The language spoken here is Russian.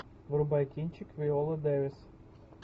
врубай кинчик виола дэвис